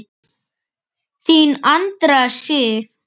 Þín Andrea Sif.